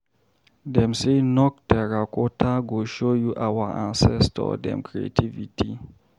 Dem sey Nok Terracotta go show you our ancestor dem creativity.